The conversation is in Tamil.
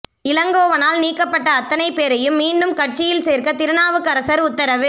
இளங்கோவனால் நீக்கப்பட்ட அத்தனை பேரையும் மீண்டும் கட்சியில் சேர்க்க திருநாவுக்கரசர் உத்தரவு